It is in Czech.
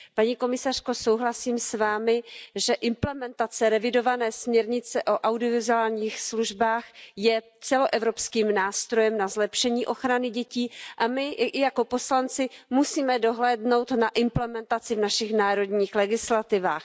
Paní komisařko, souhlasím s Vámi, že implementace revidované směrnice o audiovizuálních službách je celoevropským nástrojem na zlepšení ochrany dětí a my jako poslanci musíme dohlédnout na implementaci v našich národních legislativách.